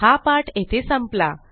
हा पाठ येथे संपला